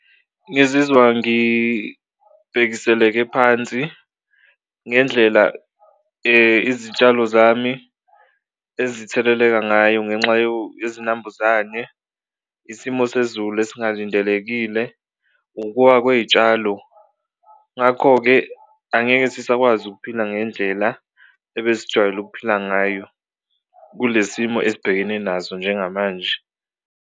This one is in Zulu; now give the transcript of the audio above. Ngizizwa ngibhekiseleke phansi ngendlela izitshalo zami ezitheleleka ngayo ngenxa yezinambuzane, isimo sezulu esingalindelekile, ukuwa kwey'tshalo ngakho-ke angeke sisakwazi ukuphila ngendlela ebesijwayele ukuphila ngayo kule simo esibhekene naso njengamanje.